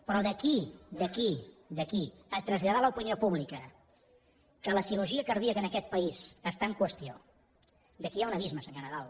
però d’aquí a traslladar a l’opinió pública que la cirurgia cardíaca en aquest país està en qüestió aquí hi ha un abisme senyor nadal